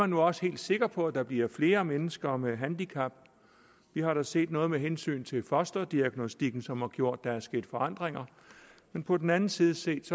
nu også helt sikker på at der bliver flere mennesker med handicap vi har da set noget med hensyn til fosterdiagnostikken som har gjort at der er sket forandringer men på den anden side set